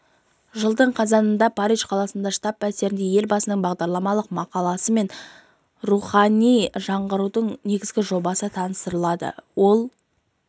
жылдың қазанында париж қаласындағы штаб пәтерінде елбасының бағдарламалық мақаласы мен рухани жаңғырудың негізгі жобасы таныстырылады ол